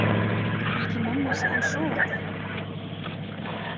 Ætli mamma sé enn sofandi?